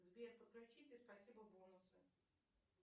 сбер подключите спасибо бонусы